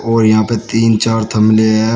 और यहां पे तीन चार थमले है।